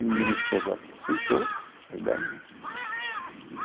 E a minha esposa aceitou a ideia né.